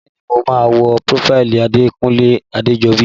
Bẹ́ẹ̀ni mo máa wo prófáìlì Odekunle Adejobi